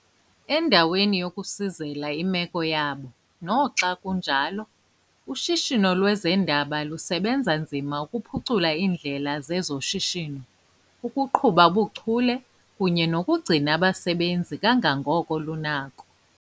Endaweni yokusizela imeko yabo, noxa kunjalo, ushishino lwezendaba lusebenza nzima ukuphucula iindlela zezoshishino, ukuqhuba ubuchule kunye nokugcina abasebenzi kangangoko lunako.